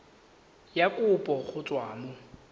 ya kopo go tswa mo